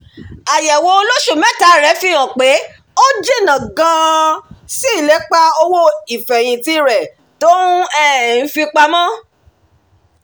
àyẹ̀wò olóṣù mẹ́ta rẹ̀ fi hàn pé ó jìnnà gan-an sí ilépa owó ìfẹ̀yìntì rẹ̀ tó um ń fipamọ